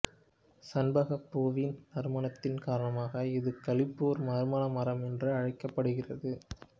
சண்பகப் பூவின் நறுமணத்தின் காரணமாக இது களிப்புறு நறுமண மரம் என்றும் அழைக்கப்படுகிறது